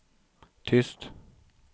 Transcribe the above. tyst